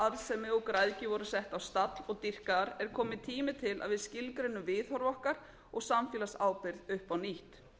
og græðgi voru sett á stall og dýrkaðar er kominn tími til að við skilgreinum viðhorf okkar og samfélagsábyrgð upp á nýtt